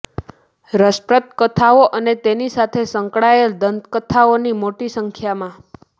રસપ્રદ કથાઓ અને તેની સાથે સંકળાયેલ દંતકથાઓ મોટી સંખ્યામાં